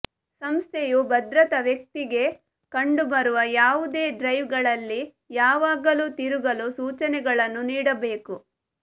ಸಂಸ್ಥೆಯು ಭದ್ರತಾ ವ್ಯಕ್ತಿಗೆ ಕಂಡುಬರುವ ಯಾವುದೇ ಡ್ರೈವ್ಗಳಲ್ಲಿ ಯಾವಾಗಲೂ ತಿರುಗಲು ಸೂಚನೆಗಳನ್ನು ನೀಡಬೇಕು